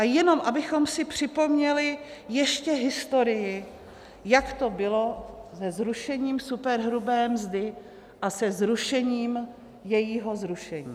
A jenom abychom si připomněli ještě historii, jak to bylo se zrušením superhrubé mzdy a se zrušením jejího zrušení.